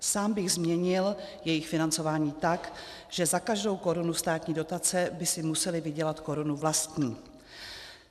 Sám bych změnil jejich financování tak, že za každou korunu státní dotace by si musely vydělat korunu vlastní.